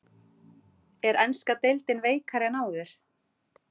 Er enska deildin veikari en áður?